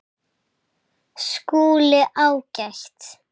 SKÚLI: Ágætt!